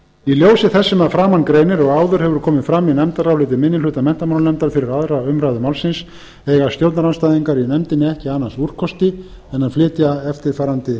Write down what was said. í ljósi þess sem að framan greinir og áður hefur komið fram í nefndaráliti minni hluta menntamálanefndar fyrir aðra umræðu málsins eiga stjórnarandstæðingar í nefndinni ekki annars úrkosti en að flytja eftirfarandi